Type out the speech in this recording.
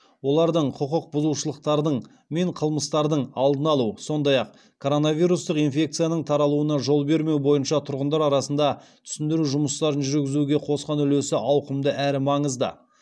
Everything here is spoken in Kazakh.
олардың құқық бұзушылықтардың мен қылмыстардың алдын алу сондай ақ коронавирустық инфекцияның таралуына жол бермеу бойынша тұрғындар арасында түсіндіру жұмыстарын жүргізуге қосқан үлесі ауқымды әрі маңызды